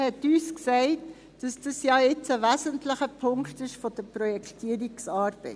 Man hat uns gesagt, dies sei jetzt ein wesentlicher Punkt in den Projektierungsarbeiten.